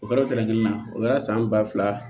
O kɛra o kɛlɛkɛ la o kɛra san ba fila